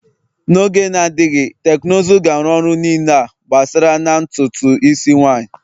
N'oge na-adịghị, teknụzụ ga-arụ ọrụ niile a gbasara na ntutu isi nwanyị